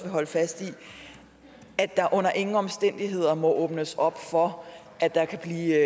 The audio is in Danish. holde fast i at der under ingen omstændigheder må åbnes op for at der kan blive